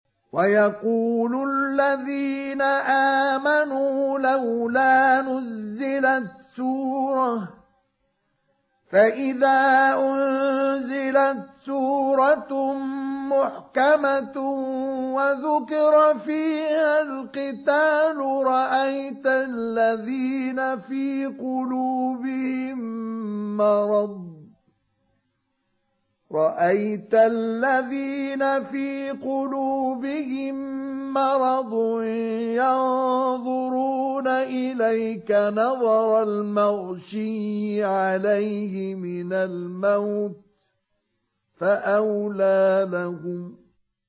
وَيَقُولُ الَّذِينَ آمَنُوا لَوْلَا نُزِّلَتْ سُورَةٌ ۖ فَإِذَا أُنزِلَتْ سُورَةٌ مُّحْكَمَةٌ وَذُكِرَ فِيهَا الْقِتَالُ ۙ رَأَيْتَ الَّذِينَ فِي قُلُوبِهِم مَّرَضٌ يَنظُرُونَ إِلَيْكَ نَظَرَ الْمَغْشِيِّ عَلَيْهِ مِنَ الْمَوْتِ ۖ فَأَوْلَىٰ لَهُمْ